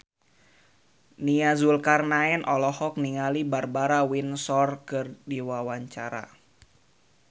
Nia Zulkarnaen olohok ningali Barbara Windsor keur diwawancara